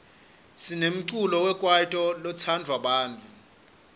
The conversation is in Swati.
sinemculo wekwaito lotsandwa bantfu